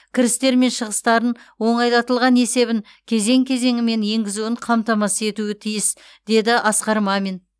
кірістер мен шығыстарын оңайлатылған есебін кезең кезеңімен енгізуін қамтамасыз етуі тиіс деді асқар мамин